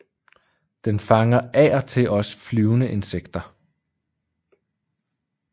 Den fanger af og til også flyvende insekter